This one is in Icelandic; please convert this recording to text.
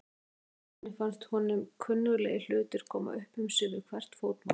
Í fyrstu ferðinni fannst honum kunnuglegir hlutir koma upp um sig við hvert fótmál.